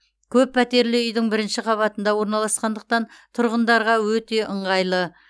көп пәтерлі үйдің бірінші қабатында орналасқандықтан тұрғындарға өте ыңғайлы